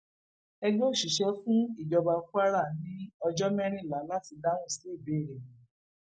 ẹgbẹ òṣìṣẹ fún ìjọba kwara ní ọjọ mẹrìnlá láti dáhùn sí ìbéèrè wọn